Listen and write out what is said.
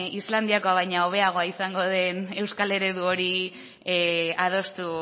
islandiakoa baino hobeagoa izango den euskal eredu hori adostu